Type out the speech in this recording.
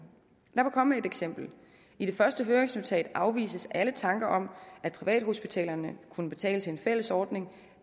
lad mig komme med et eksempel i det første høringsnotat afvises alle tanker om at privathospitalerne kunne betale til en fælles ordning